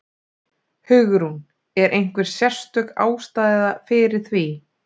Hugrún: Er einhver sérstök ástæða fyrir því?